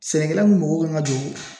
Sɛnɛkɛla mun mago kan ka jɔ